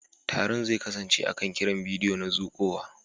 Taron zai kasance akan kiran bidiyo na zuƙowa.